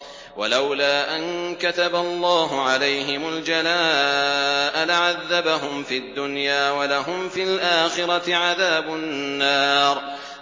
وَلَوْلَا أَن كَتَبَ اللَّهُ عَلَيْهِمُ الْجَلَاءَ لَعَذَّبَهُمْ فِي الدُّنْيَا ۖ وَلَهُمْ فِي الْآخِرَةِ عَذَابُ النَّارِ